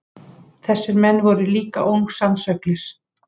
Þessir menn voru líka ósannsöglir.